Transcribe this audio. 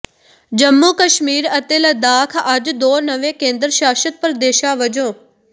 ਜੰਮੂ ਕਸ਼ਮੀਰ ਅਤੇ ਲੱਦਾਖ ਅੱਜ ਦੋ ਨਵੇਂ ਕੇਂਦਰ ਸ਼ਾਸਤ ਪ੍ਰਦੇਸ਼ਾਂ ਵਜੋਂ